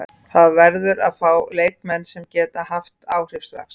Það verður að fá leikmenn sem geta haft áhrif strax.